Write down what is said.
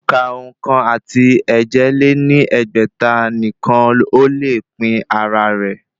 Òǹkà ókan àti èje lé ní ẹgbẹ́ta nìkan ó le pín ara rẹ̀